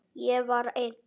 Ég var einn.